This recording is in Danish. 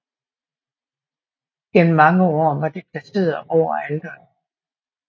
Gennem mange år var det placeret over alteret